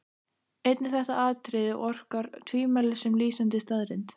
Einnig þetta atriði orkar tvímælis sem lýsandi staðreynd.